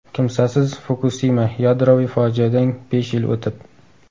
Kimsasiz Fukusima: yadroviy fojiadan besh yil o‘tib.